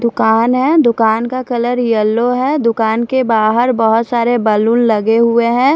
दुकान है दुकान का कलर येलो है दुकान के बहार बहत सारे बलून लगे हुए है।